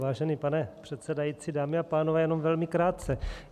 Vážený pane předsedající, dámy a pánové, jenom velmi krátce.